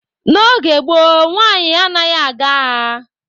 N'oge gboo, nwaanyị anaghị aga agha.